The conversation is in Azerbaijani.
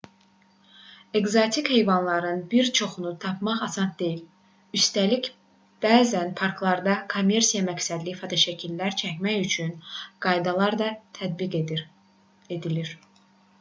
ekzotik heyvanların bir çoxunu tapmaq asan deyil üstəlik bəzən parklarda kommersiya məqsədli fotoşəkillər çəkmək üçün qaydalar da tətbiq edilir